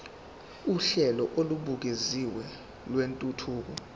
uhlelo olubukeziwe lwentuthuko